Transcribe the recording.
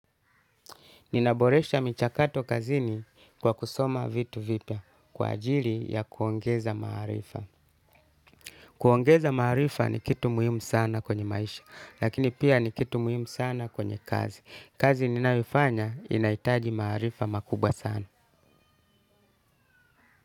Ninaboresha michakato kazini kwa kusoma vitu vipya kwa ajili ya kuongeza maarifa. Kuongeza maharifa ni kitu muhimu sana kwenye maisha, lakini pia ni kitu muhimu sana kwenye kazi. Kazi ninayoifanya inahitaji maarifa makubwa sana.